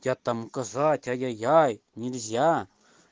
я там указать ай-я-яй нельзя